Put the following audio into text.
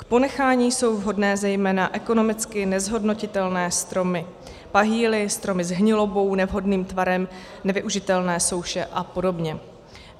K ponechání jsou vhodné zejména ekonomicky nezhodnotitelné stromy - pahýly, stromy s hnilobou, nevhodným tvarem, nevyužitelné souše a podobně.